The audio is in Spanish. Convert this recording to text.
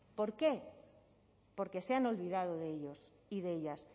por qué porque se han olvidado de ellos y de ellas